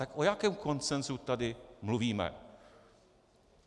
Tak o jakém konsenzu tady mluvíme?